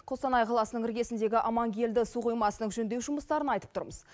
қостанай қаласының іргесіндегі амангелді су қоймасының жөндеу жұмыстарын айтып тұрмыз